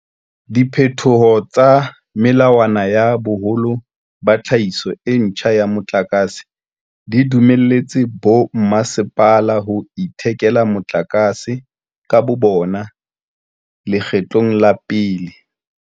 Diphetoho tsa melawana ya boholo ba tlhahiso e ntjha ya motlakase di dumelletse bommasepala ho ithekela motlakase ka bobona leketlo la pele.